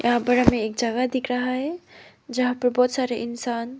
यहां पर हमें एक जगह दिख रहा है जहां पर बहोत सारे इंसान--